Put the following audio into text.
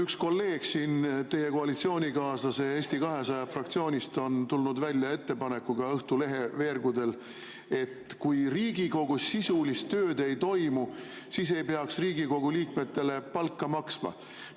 Üks kolleeg teie koalitsioonikaaslase Eesti 200 fraktsioonist on tulnud Õhtulehe veergudel välja ettepanekuga, et kui Riigikogus sisulist tööd ei toimu, siis ei peaks Riigikogu liikmetele palka maksma.